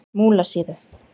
Múlasíðu